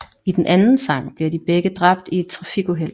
I den anden sang bliver de begge dræbt i et trafikuheld